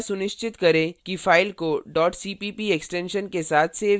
कृपया सुनिश्चित करें कि file को cpp extension के साथ सेव किया गया है